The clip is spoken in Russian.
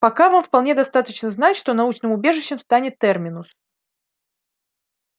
пока вам вполне достаточно знать что научным убежищем станет терминус